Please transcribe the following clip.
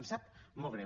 ens sap molt greu